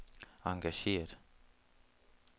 engageret